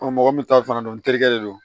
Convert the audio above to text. mɔgɔ min ta fana don n terikɛ de don